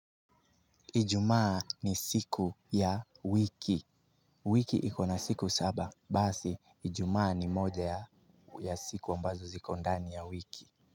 Ijumaa ni siku ya wik. Wiki ikona siku saba, basi, ijumaa ni moja ya siku ambazo ziko ndani ya wiki.